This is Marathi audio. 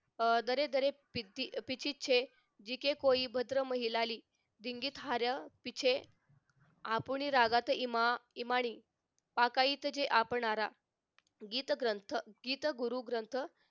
अह दरे दरे पिटी पीची छे जीके कोई भद्र महिलेली आपुनी रागात इमा आकारीत जे आखणारा गीत ग्रंथ गीत गुरु ग्रंथ